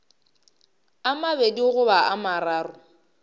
a mabedi goba a mararo